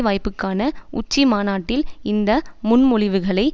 வாய்ப்புக்கான உச்சி மாநாட்டில் இந்த முன்மொழிவுகளை